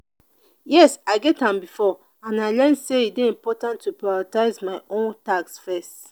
yes i get am before and i learn say e dey important to prioritize my own tasks first.